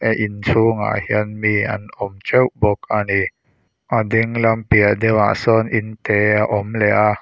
a in chhungah hian mi an awm teuh bawk a ni a ding lam piah deuh a sawn inte a awm leh a.